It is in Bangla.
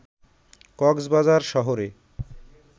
কক্সবাজার শহরে